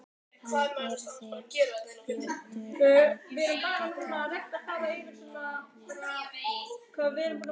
Hann yrði fljótur að skella á nefið á henni.